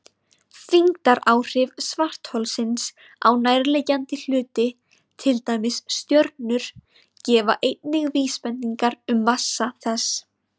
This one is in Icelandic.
Þyngdaráhrif svartholsins á nærliggjandi hluti, til dæmis stjörnur, gefa einnig vísbendingar um massa þess.